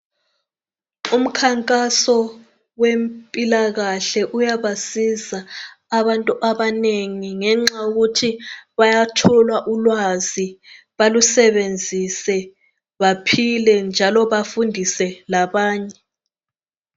Umkhankaso wempilakahle uyabasiza abantu abanengi ngenxa yokuthi bayathola ulwazi balusebenzise baphile njalo bafundise labanye.